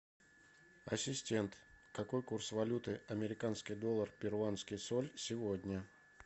ассистент какой курс валюты американский доллар перуанский соль сегодня